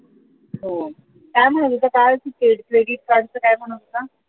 हो काय म्हणत होता काल credit card च काय म्हणत होता